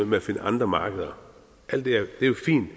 med at finde andre markeder alt det er jo fint